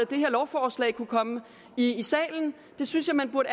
det her lovforslag kunne komme i salen det synes jeg man burde